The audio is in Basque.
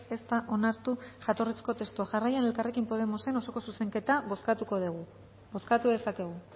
ez da onartu jatorrizko testua jarraian elkarrekin podemosen osoko zuzenketa bozkatuko dugu bozkatu dezakegu